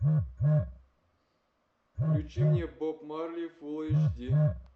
включи мне боб марли фул эйч ди